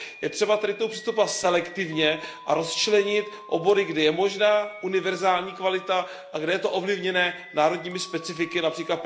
Je třeba tady k tomu přistupovat selektivně a rozčlenit obory, kdy je možná univerzální kvalita a kde je to ovlivněno národními specifiky, např.